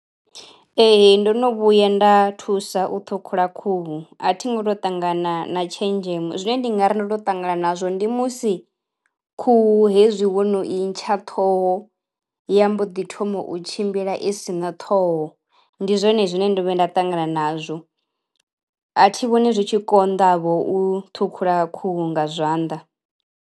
Ee ndo no vhuya nda thusa u ṱhukhula khuhu. A thi ngo to ṱangana na tshenzhemo zwine ndi ngari ndo to ṱangana nazwo ndi musi khuhu hezwi wo no I ntsha ṱhoho ya mbo ḓi thoma u tshimbila i si na ṱhoho ndi zwone zwine ndo vhuya nda ṱangana nazwo. A thi vhoni zwi tshi konḓa vho u ṱhukhula khuhu nga zwanḓa.